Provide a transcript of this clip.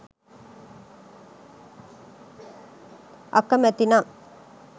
අකමැති නම්